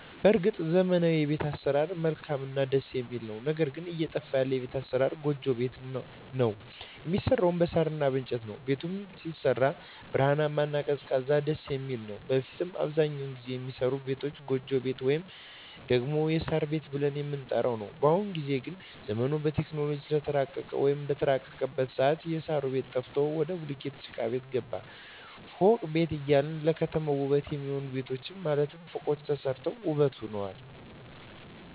በርግጥ ዘመናዊዉ የቤት አሰራር መልካምእና ደስ የሚል ነዉ ነገር ግን እየጠፋ ያለ የቤት አሰራር ጎጆ ቤት ነዉ የሚሰራዉም በሳር እና በእንጨት ነዉ ቤቱም ሲሰራ ብርሃናማ እና ቀዝቃዛም ደስየሚል ነዉ በፊት ላይ አብዛኛዉን ጊዜ የሚሰሩ ቤቶች ጎጆ ቤት ወይም ደግሞ የሳር ቤት ብለን የምንጠራዉ ነዉ በአሁኑ ጊዜ ግን ዘመኑም በቴክኖሎጂ ስለተራቀቀ ወይም በተራቀቀበት ሰአት የእሳሩ ቤት ጠፍቶ ወደ ቡሉኬት ጭቃቤት ገባን ፎቅ ቤት እያለ ለከተማዋ ዉበት የሚሆኑ ቤቶች ማለትም ፎቆች ተሰርተዋል ዉበትም ሆነዋል